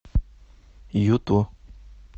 юту